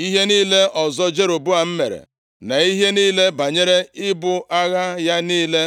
Ihe niile ọzọ Jeroboam mere, na ihe niile banyere ibu agha ya niile,